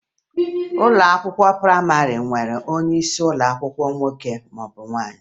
Ụlọ akwụkwọ prayịmarị na-enwe onyeisi ụlọ akwụkwọ nwoke maọbụ nwaanyị